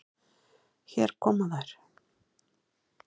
Hér koma þær.